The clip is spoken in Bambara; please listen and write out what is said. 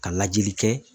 Ka lajɛli kɛ